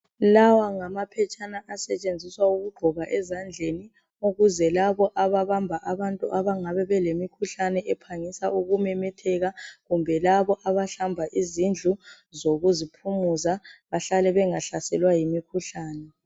Lawa ngamaphetshana asetshenziswa ukugqoka ezandleni, ukuze labo ababamba abantu abangabe belemikhuhlane ephangisa ukumemetheka kumbe laba abahlamba izindlu zoku ziphumuza bahlale bengahlaselwa yimikhuhlane.